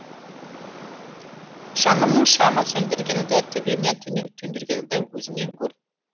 жанымның шамын сөндіргеніңді төбемнен түнек төндіргеніңді өзіңнен көр